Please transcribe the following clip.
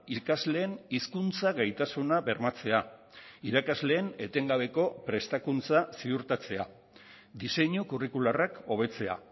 ikasleen hizkuntza gaitasuna bermatzea irakasleen etengabeko prestakuntza ziurtatzea diseinu curricularrak hobetzea